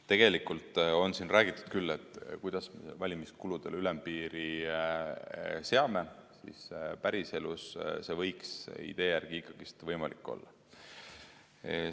Tegelikult on siin räägitud küll, kuidas me valimiskuludele ülempiiri seame, päriselus see võiks idee järgi võimalik olla.